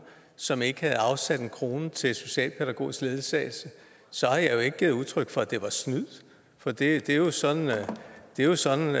som ikke havde afsat en krone til socialpædagogisk ledsagelse så har jeg jo ikke givet udtryk for at det var snyd for det er jo sådan jo sådan